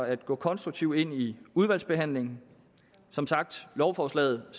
at gå konstruktivt ind i udvalgsbehandlingen som sagt ser lovforslaget